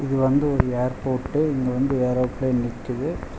இது வந்து ஒரு ஏர்போர்ட்டு இங்க வந்து ஏரோப்ளேன் நிக்கிது.